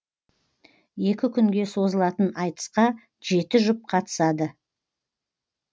екі күнге созылатын айтысқа жеті жұп қатысады